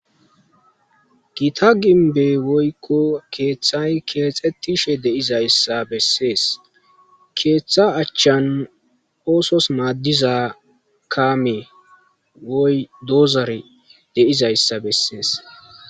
Gita gimbbe woykko keexxetishe de'izayssa besees. Keeththa achchan oosos maadiza kaame woy dozore de'zayssa besees.